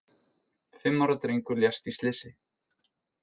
Fimm ára drengur lést í slysi